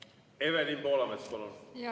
Evelin Poolamets, palun!